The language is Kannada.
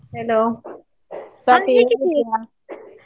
Hello ಸ್ವಾತಿ, ಹೇಗಿದ್ದೀಯಾ?